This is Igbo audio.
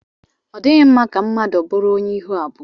Ọ dịghị mma ka mmadụ bụrụ onye ihu abụọ.